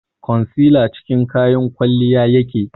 concealer cikin kayan kwalliya yake